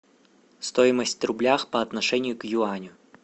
стоимость рубля по отношению к юаню